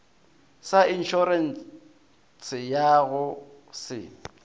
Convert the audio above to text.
sa inšorense ya go se